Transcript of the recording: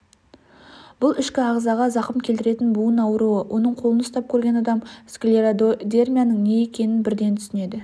бұл ішкі ағзаға зақымкелтіретін буын ауруы оның қолын ұстап көрген адам склеродермияның не екенін бірден түсінеді